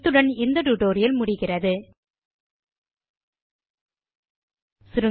இத்துடன் இந்த டியூட்டோரியல் முடிவுக்கு வருகிறது